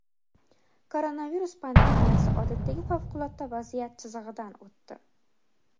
Koronavirus pandemiyasi odatdagi favqulodda vaziyat chizig‘idan o‘tdi.